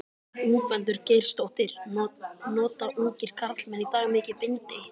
Ingveldur Geirsdóttir: Nota ungir karlmenn í dag mikið bindi?